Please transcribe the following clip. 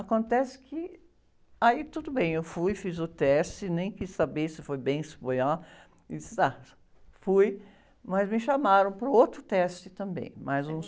Acontece que... Aí tudo bem, eu fui, fiz o teste, nem quis saber se foi bem, se foi ah... E disse, ah... Fui, mas me chamaram para o outro teste também, mais um